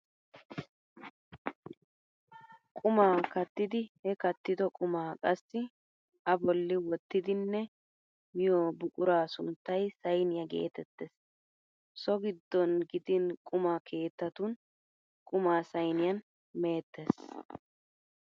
Qumaa kattidi he kattido qumaa qassi a bolli wottidinne miyo buquraa sunttay sayniyaa geetettees. So giddon gidin quma keettatun qumaa sayniyan meettes.